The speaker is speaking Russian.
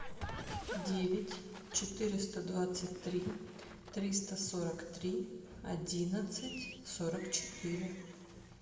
девять четыреста двадцать три триста сорок три одиннадцать сорок четыре